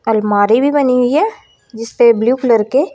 अलमारी भी बनी हुई है जिसपे ब्ल्यू कलर के--